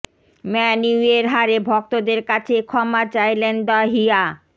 man ইউয়ের হারে ভক্তদের কাছে ক্ষমা চাইলেন দ্য হিয়া